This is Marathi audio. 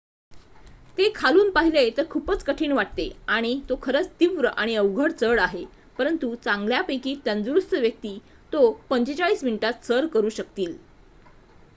ते खालून पाहिले तर खूपच कठीण वाटते आणि तो खरंच तीव्र आणि अवघड चढ आहे परंतु चांगल्यापैकी तंदुरुस्त व्यक्ती तो 45 मिनिटात सर करू शकतील